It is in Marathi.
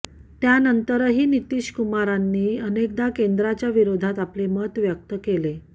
त्यानंतरही नितीशकुमारांनी अनेकदा केंद्राच्या विरोधात आपले मत व्यक्त केले